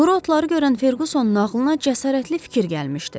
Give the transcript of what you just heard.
Quru otları görən Ferqusonun ağlına cəsarətli fikir gəlmişdi.